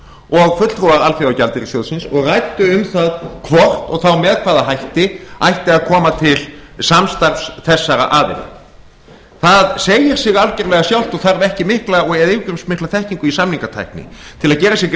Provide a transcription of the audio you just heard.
og fulltrúar alþjóðagjaldeyrissjóðsins og ræddu um það hvort og þá með hvaða hætti ætti að koma til samstarfs þessara aðila það segir sig algjörlega sjálft og þarf ekki yfirgripsmikla þekkingu í samningatækni til að gera sér